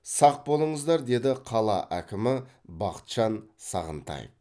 сақ болыңыздар деді қала әкімі бақытжан сағынтаев